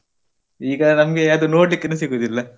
ಈಗ ನಮ್ಗೆ ಅದು ನೋಡ್ಲಿಕ್ಕುನು ಸಿಗುದಿಲ್ಲ.